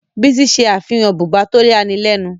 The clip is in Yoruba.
Bísí ṣe àfihàn bùbá tó yani lẹ́nu.